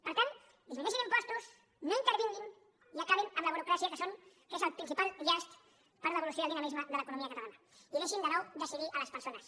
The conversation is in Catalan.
per tant disminueixin impostos no intervinguin i acabin amb la burocràcia que és el principal llast per a l’evolució i el dinamisme de l’economia catalana i deixin de nou decidir a les persones